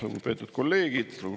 Lugupeetud kolleegid!